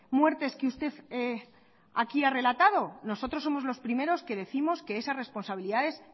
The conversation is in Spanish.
muertes que usted aquí ha relatado nosotros somos los primeros que décimos que esa responsabilidades